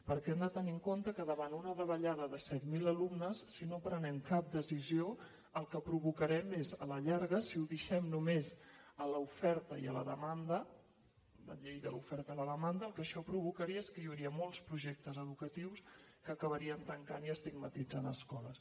perquè hem de tenir en compte que davant una davallada de set mil alumnes si no prenem cap decisió el que provocarem és a la llarga si ho deixem només a l’oferta i a la demanda la llei de l’oferta i la demanda el que això provocaria és que hi hauria molts projectes educatius que acabarien tancant i estigmatitzant escoles